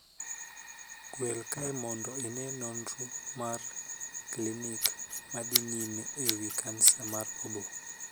Gwel kae mondo ine nonro mag klinik ma dhi nyime e wii kansa mar oboo.